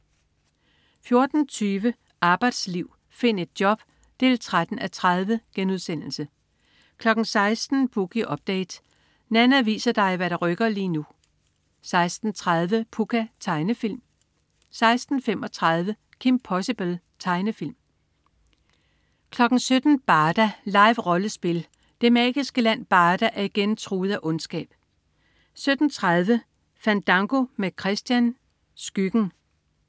14.20 Arbejdsliv. Find et job 13:30* 16.00 Boogie Update. Nanna viser dig hvad der rykker lige nu 16.30 Pucca. Tegnefilm 16.35 Kim Possible. Tegnefilm 17.00 Barda. Live-rollespil. Det magiske land Barda er igen truet af ondskab 17.30 Fandango med Christian. Skyggen